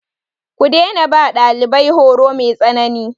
Ku daina ba ɗalibai horo mai tsanani.